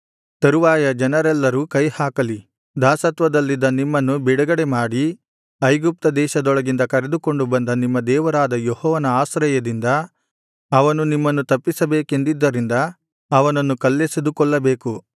ತರುವಾಯ ಜನರೆಲ್ಲರೂ ಕೈಹಾಕಲಿ ದಾಸತ್ವದಲ್ಲಿದ್ದ ನಿಮ್ಮನ್ನು ಬಿಡುಗಡೆಮಾಡಿ ಐಗುಪ್ತ ದೇಶದೊಳಗಿಂದ ಕರೆದುಕೊಂಡು ಬಂದ ನಿಮ್ಮ ದೇವರಾದ ಯೆಹೋವನ ಆಶ್ರಯದಿಂದ ಅವನು ನಿಮ್ಮನ್ನು ತಪ್ಪಿಸಬೇಕೆಂದಿದ್ದರಿಂದ ಅವನನ್ನು ಕಲ್ಲೆಸೆದು ಕೊಲ್ಲಲೇಬೇಕು